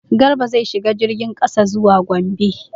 Garba zai shiga jirgin kasa zuwa Gombe.